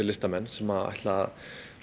listamenn sem ætla